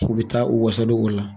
K'u bɛ taa u wasa don o la.